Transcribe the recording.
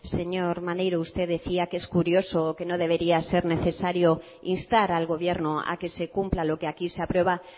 señor maneiro usted decía que es curioso que no debería ser necesario instar al gobierno a que se cumpla lo que aquí se aprueba